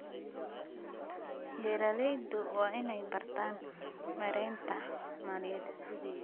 Beeraleydu waa inay bartaan maareynta maaliyadda.